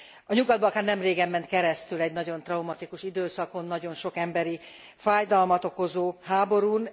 A Nyugat Balkán nemrégen ment keresztül egy nagyon traumatikus időszakon, nagyon sok emberi fájdalmat okozó háborún.